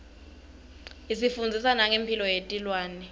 isifundzisa nangemphilo yetilwane